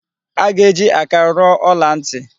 A ga-eji aka rụọ ọla ntị.